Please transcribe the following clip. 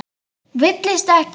Villist ekki!